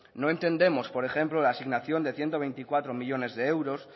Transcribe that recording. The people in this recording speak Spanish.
no entendemos por ejemplo la asignación de ciento veinticuatro millónes